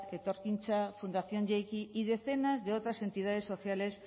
etorkintza fundación jeiki y decenas de otras entidades sociales